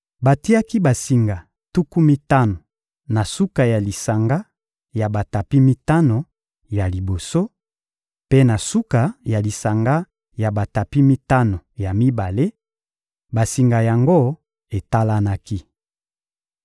Batiaki basinga tuku mitano na suka ya lisanga ya batapi mitano ya liboso, mpe na suka ya lisanga ya batapi mitano ya mibale; basinga yango etalanaki.